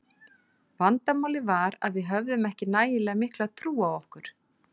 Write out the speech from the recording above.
Vandamálið var að við höfðum ekki nægilega mikla trú á okkur.